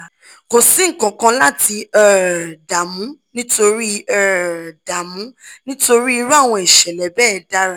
kò sí nkankan láti um dààmú nítorí um dààmú nítorí irú àwọn ìṣẹ̀lẹ̀ bẹ́ẹ̀ dára